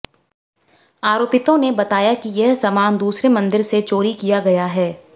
आरोपितों ने बताया कि यह समान दूसरे मंदिर से चोरी किया गया है